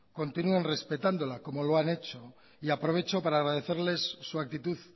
continúen respetándola como lo han hecho y aprovecho para agradecerles su actitud